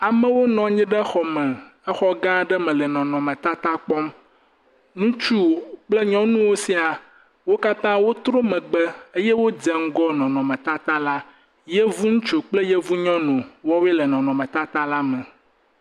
Amewo nɔ anyi ɖe xɔ me. Exɔ gã aɖe me le nɔnɔme tata kpɔm kple nyɔnuwo sĩa. Wo katã wò trɔ megbe eye wòdze ŋgɔ nɔnɔme tata la. Yevu ŋutsu kple yevu nyɔnu ya woe le nɔnɔme tata la me.